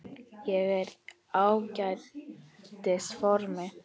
Ég er í ágætis formi.